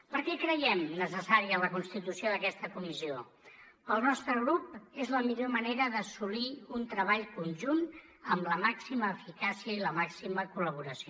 per què creiem necessària la constitució d’aquesta comissió per al nostre grup és la millor manera d’assolir un treball conjunt amb la màxima eficàcia i la màxima col·laboració